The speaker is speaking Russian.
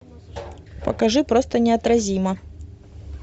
покажи просто неотразима